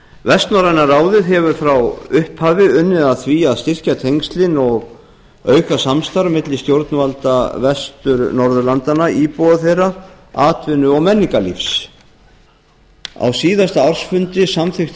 vestnorræna ráðið hefur frá upphafi unnið að því að styrkja tengslin og auka samstarf milli stjórnvalda vestur norðurlandanna íbúa þeirra atvinnu og menningarlífs á síðasta ársfundi samþykkti